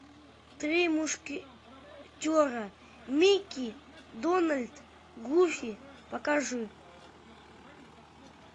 три мушкетера микки дональд гуфи покажи